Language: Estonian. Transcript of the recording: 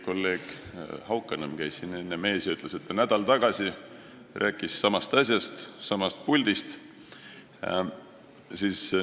Kolleeg Haukanõmm käis enne siin teie ees ja ütles, et ta nädal tagasi rääkis samas puldis samast asjast.